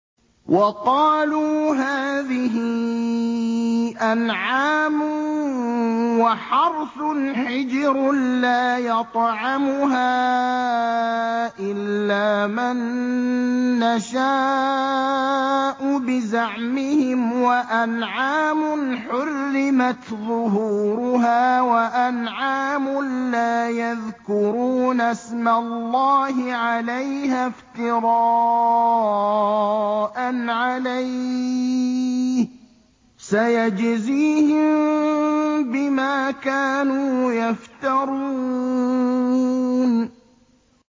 وَقَالُوا هَٰذِهِ أَنْعَامٌ وَحَرْثٌ حِجْرٌ لَّا يَطْعَمُهَا إِلَّا مَن نَّشَاءُ بِزَعْمِهِمْ وَأَنْعَامٌ حُرِّمَتْ ظُهُورُهَا وَأَنْعَامٌ لَّا يَذْكُرُونَ اسْمَ اللَّهِ عَلَيْهَا افْتِرَاءً عَلَيْهِ ۚ سَيَجْزِيهِم بِمَا كَانُوا يَفْتَرُونَ